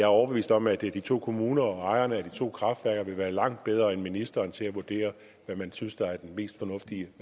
overbevist om at de to kommuner og ejerne af de to kraftværker vil være langt bedre end ministeren til at vurdere hvad man synes der er den mest fornuftige